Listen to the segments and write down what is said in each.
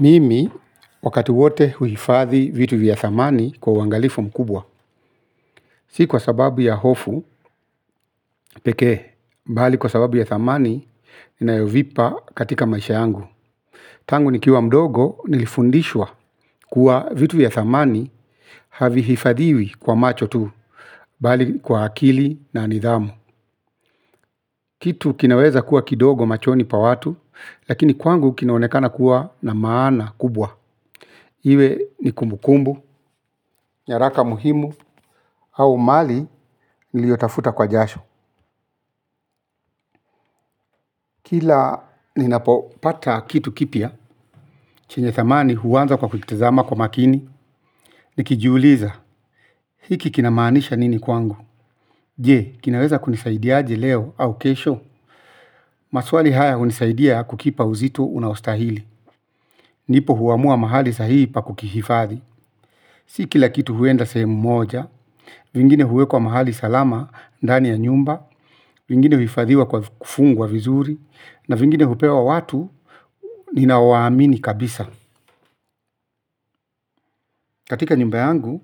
Mimi wakati wote huifadhi vitu vya thamani kwa wangalifu mkubwa. Si kwa sababu ya hofu pekee bali kwa sababu ya dhamani ninayovipa kwa maisha yangu. Tangu nikiwa mdogo nilifundishwa kuwa vitu vya thamani havi hifadhiwi kwa macho tu, bali kwa akili na nidhamu. Kitu kinaweza kuwa kidogo machoni pa watu, lakini kwangu kinaonekana kuwa na maana kubwa. Iwe ni kumbukumbu, nyaraka muhimu, hau mali niliyotafuta kwa jasho kila ninapopata kitu kipia chenye thamani huanza kwa kutazama kwa makini nikijiuliza hiki kina maanisha nini kwangu. Je, kinaweza kunisaidiaji leo au kesho. Maswali haya unisaidia kukipa uzito unaustahili. Ndipo huamua mahali sahihi pa kukihifadhi. Si kila kitu huenda semu moja. Vingine huwe kwa mahali salama, ndani ya nyumba. Vingine huifadhiwa kwa kufungu wa vizuri. Na vingine hupewa watu. Nina waamini kabisa. Katika nyumbayangu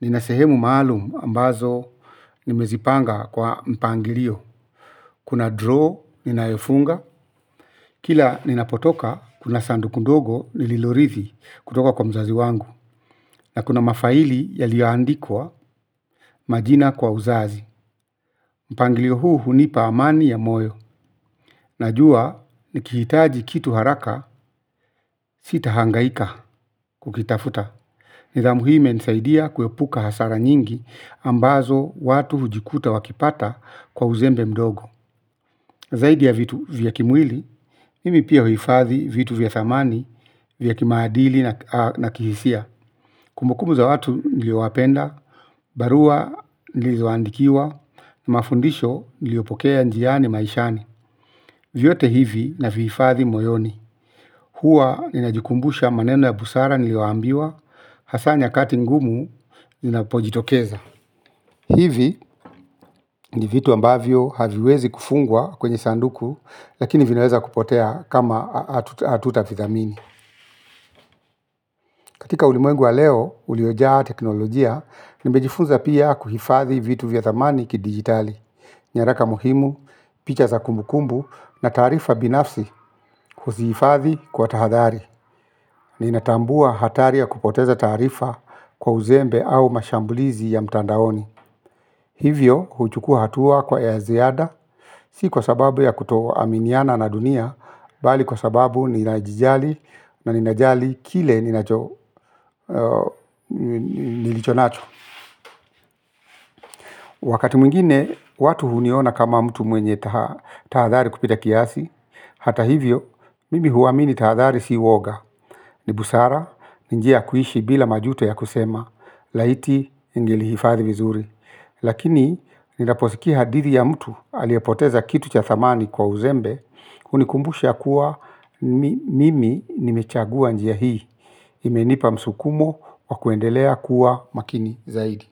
nina sehemu maaluma ambazo nimezipanga kwa mpangilio. Kuna draw, ninayofunga. Kila ninapotoka kuna sandu kundogo nililorithi kutoka kwa mzazi wangu. Na kuna mafaili yaliyowaandikwa majina kwa uzazi. Mpangilio huu hunipa amani ya moyo. Najua, nikihitaji kitu haraka sitahangaika kukitafuta nidhamu hii imenisaidia kuepuka hasara nyingi ambazo watu hujikuta wakipata kwa uzembe mdogo. Zaidi ya vitu vyakimwili, mimi pia huifathi vitu vyathamani, vyakimaadili na kihisia. Kumbukumbu za watu nilioapenda, barua nilizoandikiwa, mafundisho nilio pokea njiani maishani. Vyote hivi naviifathi moyoni. Hua ninajikumbusha maneno ya busara nilioambiwa, hasa nyakati ngumu Ninapojitokeza Hivi ni vitu ambavyo haviwezi kufungwa kwenye sanduku. Lakini vinaweza kupotea kama atuta vithamini. Katika ulimoengwa leo uliojaa teknolojia. Nimbejifunza pia kuhifadhi vitu vya thamani ki digitali nyaraka muhimu, picha za kumbukumbu na tarifa binafsi kuzifadhi kwa tahadhari ninatambua hatari ya kupoteza taarifa kwa uzembe ama mashambulizi ya mtandaoni hivyo huchukua hatua kwa ziada si kwa sababu kutoaminiana na dunia bali kwa sababu ninajijali an najali kile nilichonacho. Wakati mwingine, watu huniona kama mtu mwenye tahadhali kupita kiasi. Hata hivyo, mimi huwamini tahadhali si woga. Nibusara, ninjia kuishi bila majuto ya kusema, laiti ningilihifadhi vizuri. Lakini ninaposiki hadithi ya mtu aliapoteza kitu cha thamani kwa uzembe. Unikumbusha kuwa mimi nimechagua njiya hii. Imenipa msukumo wa kuendelea kuwa makini zaidi.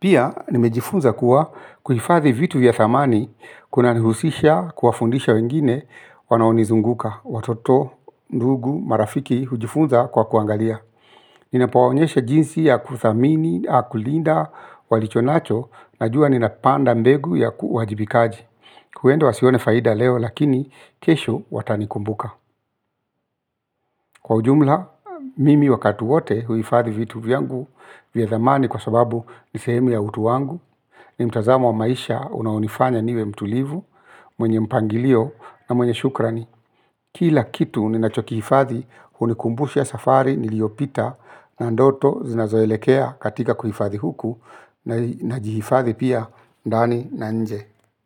Pia nimejifunza kuwa kujifathi vitu ya thamani. Kuna nihusisha kuwa fundisha wengine wanaonizunguka watoto, ndugu, marafiki hujifunza kwa kuangalia. Ninapaonyeshe jinsi ya kuthamini, au kulinda, walichonacho, na jua ninapanda mbegu ya kuhajibikaji. Kuendo wasione faida leo lakini kesho watanikumbuka. Kwa ujumla, mimi wakati wote huifadi vitu vyangu vya thamani kwa sababu nisehemu ya utu wangu. Nimtazamo wa maisha unaunifanya niwe mtulivu, mwenye mpangilio na mwenye shukrani. Kila kitu ni nachokiifadhi unikumbusha ya safari niliopita na ndoto zinazoelekea katika kuhifadhi huku na jiifadhi pia ndani na nje.